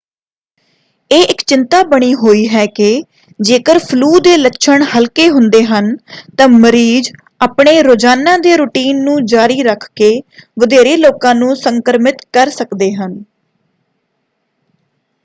ਇਹ ਇੱਕ ਚਿੰਤਾ ਬਣੀ ਹੋਈ ਹੈ ਕਿ ਜੇਕਰ ਫਲੂ ਦੇ ਲੱਛਣ ਹਲਕੇ ਹੁੰਦੇ ਹਨ ਤਾਂ ਮਰੀਜ਼ ਆਪਣੇ ਰੋਜ਼ਾਨਾ ਦੇ ਰੁਟੀਨ ਨੂੰ ਜਾਰੀ ਰੱਖਕੇ ਵਧੇਰੇ ਲੋਕਾਂ ਨੂੰ ਸੰਕ੍ਰਮਿਤ ਕਰ ਸਕਦੇ ਹਨ।